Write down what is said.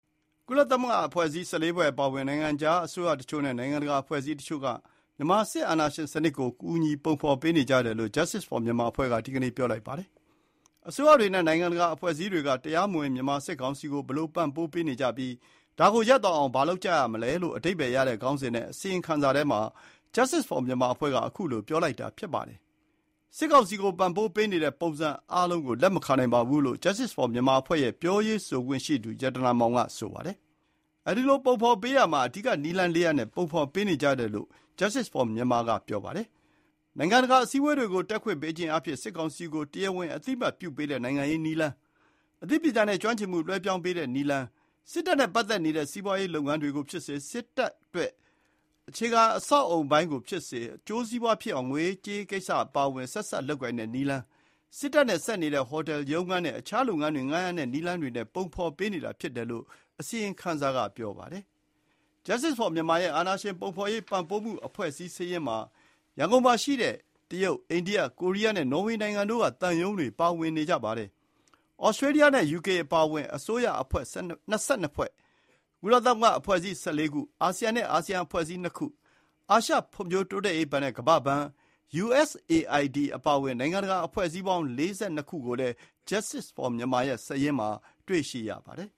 ကုလသမဂ္ဂအဖွဲ့အစည်း ၁၄ ဖွဲ့ အပါအဝင် နိုင်ငံခြားအစိုးရတချို့ နဲ့ နိုင်ငံတကာ အဖွဲ့အစည်းတချို့က မြန်မာ စစ်အာဏာရှင်စနစ်ကို ကူညီ ပုံဖော်ပေးနေကြတယ်လို့ Justice for Myanmar အဖွဲ့က ဒီနေ့ ပြောလိုက်ပါတယ်။ အစိုးရတွေနဲ့ နိုင်ငံတကာ အဖွဲ့အစည်းတွေက တရားမဝင် မြန်မာစစ်ကောင်စီကို ဘယ်လို ပံ့ပိုးပေးနေကြပြီး၊ ဒါကို ရပ်သွားအောင် ဘာလုပ်ကြရမလဲလို့ အဓိပ္ပါယ်ရတဲ့ ခေါင်းစဉ်နဲ့ အစီရင်ခံစာထဲမှာ Justice for Myanmar အဖွဲ့က ခုလိုပြောလိုက်တာ ဖြစ်ပါတယ်။ “စစ်ကောင်စီကို ပံ့ပိုးပေးနေတဲ့ ပုံစံအားလုံးကို လက်မခံနိုင်ပါဘူး” လို့ Justice for Myanmar အဖွဲ့ရဲ့ ပြောရေးဆိုခွင့်ရှိသူ ရတနာမောင်က ဆိုပါတယ်။ အဲဒီလို ပုံဖော်ပေးရာမှာ အဓိက နည်းလမ်း ၄ ရပ်နဲ့ ပုံဖော်ပေးနေကြတယ်လို့ Justice for Myanamr က ပြောပါတယ်။ နိုင်ငံတကာ အစည်းအဝေးတွေကို တက်ခွင့်ပေးခြင်းအားဖြင့် စစ်ကောင်စီကို တရားဝင် အသိအမှတ်ပြုပေးတဲ့ နိုင်ငံရေးနည်းလမ်း၊ အသိပညာနဲ့ ကျွမ်းကျင်မှု လွှဲပြောင်းပေးတဲ့ နည်းလမ်း၊ စစ်တပ်နဲ့ ပတ်သက်နေတဲ့ စီးပွါးရေးလုပ်ငန်းတွေကို ဖြစ်စေ၊ စစ်တပ်ကို အထောက်အကူ ဖြစ်စေတဲ့ အခြေခံ အဆောက်အအုံပိုင်းကို ဖြစ်စေ၊ အကျိုးစီးပွါးဖြစ်အောင် ငွေရေးကြေးရေးကိစ္စ အပါအဝင် ဆက်စပ်လုပ်ကိုင်တဲ့ နည်လမ်း၊ စစ်တပ်နဲ့ ဆက်နေတဲ့ ဟိုတယ်၊ ရုံးခန်းနဲ့ အခြားလုပ်ငန်းတွေကို ငှါးရမ်းတဲ့ နည်းလမ်းတွေနဲ့ ပုံဖော်ပေးနေတာ ဖြစ်တယ်လို့ အစီရင်ခံစာက ဆိုပါတယ်။ Justice for Myanmar ရဲ့ အာဏာရှင်ပုံဖော်ရေး ပံပိုးအဖွဲ့အစည်းစာရင်းမှာ ရန်ကုန်မှာရှိတဲ့ တရုတ်၊ အိန္ဒိယ၊ ကိုရီးယားနဲ့ နော်ဝေနိုင်ငံတို့က သံရုံးတွေ ပါဝင်နေကြပါတယ်။ သြစတြေလျနဲ့ ယူကေအပါအဝင် အစိုးရအဖွဲ့ ၂၂ ဖွဲ့၊ ကုလသမဂ္ဂ အဖွဲ့အစည်း ၁၄ ခု၊ အာဆီယံ နဲ့ အာဆီယံ အဖွဲ့အစည်း ၂ ခု၊ အာရှ ဖွံ့ဖိုးတိုးတက်ရေးဘဏ် (ADB) နဲ့ ကမ္ဘာ့ဘဏ်၊ USAID အပါအဝင် နိုင်ငံတကာ အဖွဲ့အစည်းပေါင်း ၄၂ ခုကိုလည်း Justice for Myanmar ရဲ့ စာရင်းမှာ တွေ့ရပါတယ်